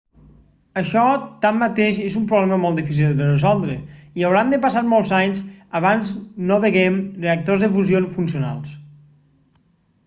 això tanmateix és un problema molt difícil de resoldre i hauran de passar molts anys abans no vegem reactors de fusió funcionals